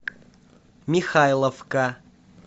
михайловка